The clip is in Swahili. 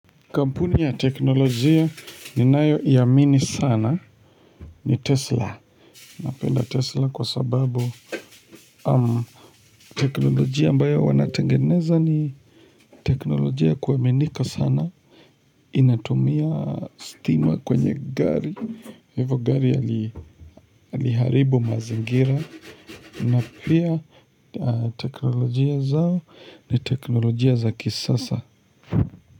Kampuni ya teknolojia ninayo iamini sana ni tesla Napenda tesla kwa sababu Umm teknolojia ambayo wanatengeneza ni teknolojia ya kuaminika sana Inatumia stima kwenye gari Hivo gari yaliharibu mazingira na pia teknolojia zao ni teknolojia za kisasa.